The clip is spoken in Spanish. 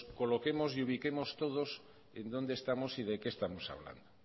coloquemos y ubiquemos todos en dónde estamos y de qué estamos hablando